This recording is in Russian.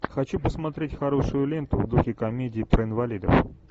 хочу посмотреть хорошую ленту в духе комедии про инвалидов